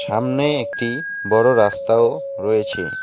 আমনে একটি বড়ো রাস্তাও রয়েচে ।